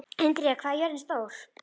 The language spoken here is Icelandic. Indíra, hvað er jörðin stór?